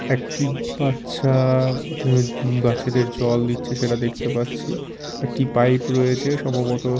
একটি বাচ্চা বা উম বাচ্চাদের জল দিচ্ছে সেটা দেখতে পাচ্ছি একটি পাইপ রয়েছে সম্ভবত --